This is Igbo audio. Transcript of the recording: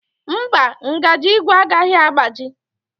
Mba, ngaji ígwè agaghị agbaji.